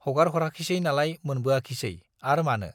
हगारहराखिसै नालाय मोनबोआखिसै, आर मानो?